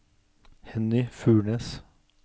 Henny Furnes